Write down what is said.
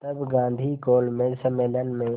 तब गांधी गोलमेज सम्मेलन में